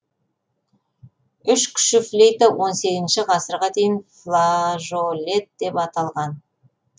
үш кіші флейта он сегізінші ғасырға дейін флажолет деп аталған